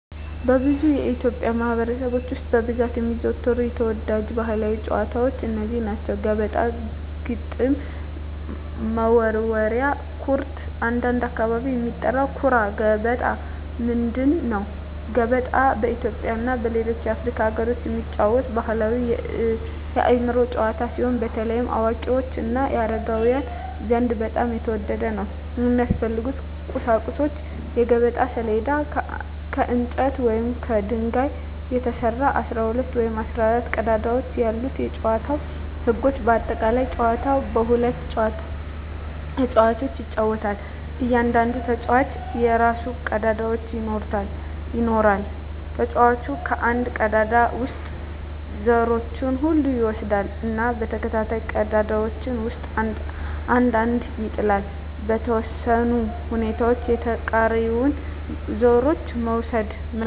በብዙ የኢትዮጵያ ማኅበረሰቦች ውስጥ በብዛት የሚዘወተሩ ተወዳጅ ባሕላዊ ጨዋታዎች እነዚህ ናቸው፦ ገበጣ ግጥም መወርወሪያ / ኩርት (በአንዳንድ አካባቢ የሚጠራ) ኩራ ገበጣ ምንድን ነው? ገበጣ በኢትዮጵያ እና በሌሎች የአፍሪካ አገሮች የሚጫወት ባሕላዊ የአእምሮ ጨዋታ ሲሆን፣ በተለይ በአዋቂዎች እና በአረጋውያን ዘንድ በጣም የተወደደ ነው። የሚያስፈልጉ ቁሳቁሶች የገበጣ ሰሌዳ: ከእንጨት ወይም ከድንጋይ የተሰራ፣ 12 ወይም 14 ቀዳዳዎች ያሉት የጨዋታው ህጎች (በአጠቃላይ) ጨዋታው በሁለት ተጫዋቾች ይጫወታል። እያንዳንዱ ተጫዋች የራሱን ቀዳዳዎች ይኖራል። ተጫዋቹ ከአንድ ቀዳዳ ውስጥ ዘሮቹን ሁሉ ይወስዳል እና በተከታታይ ቀዳዳዎች ውስጥ አንድ አንድ ይጥላል። . በተወሰኑ ሁኔታዎች የተቃራኒውን ዘሮች መውሰድ (መብላት) ይችላል።